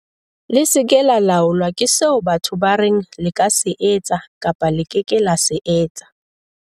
"Le se ke la laolwa ke seo batho ba reng le ka se etsa kapa le ke ke la se etsa."